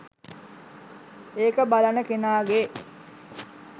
ඒක බලන කෙනාගේ.